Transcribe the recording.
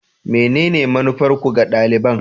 Menene manufarku ga daliban?